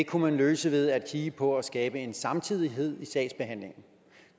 kunne man løse ved at kigge på at skabe en samtidighed i sagsbehandlingen